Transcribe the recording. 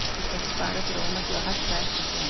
Þú skalt spara þér ómakið og hætta að eltast við hana.